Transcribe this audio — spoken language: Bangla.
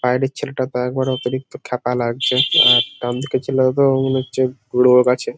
বাইরের ছেলেটা তো একেবারে অতিরিক্ত ক্ষ্যাপা লাগছে। ডান দিকের ছেলেটা তো মনে হচ্ছে রোওওওগ আছে ।